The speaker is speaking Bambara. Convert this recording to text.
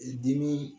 Dimi